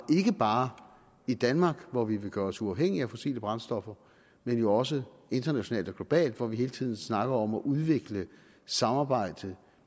ikke bare i danmark hvor vi vil gøre os uafhængige af fossile brændstoffer men også internationalt og globalt hvor vi hele tiden snakker om at udvikle samarbejdet